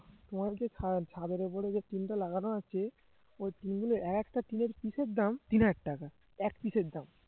তোমাদের যে ছা~ ছাদের ওপরে যে টিনটা লাগানো আছে ওই টিনগুলো একটা টিনের piece এর দাম তিন হাজার টাকা এক piece এর দাম